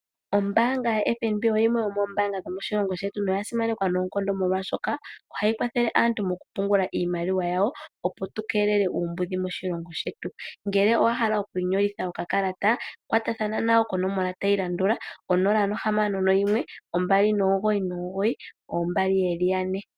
Ombaanga yaFNB oyo yimwe yomoombaanga dhomoshilongo shetu noya simanekwa noonkondo molwaashoka ohayi kwathele aantu mokupungula iimaliwa yawo, opo tu keelele uumbudhi moshilongo shetu. Ngele owa hala okwiinyolitha okakalata, kwatathana nayo konomola tayi landula: 061 299 2222